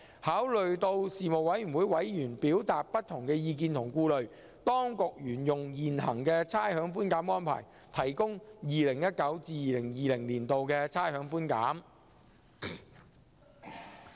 考慮到事務委員會委員表達的不同意見及顧慮，當局沿用現行的差餉寬減安排，提供 2019-2020 年度的差餉寬減。